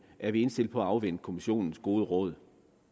er vi indstillet på at afvente kommissionens gode råd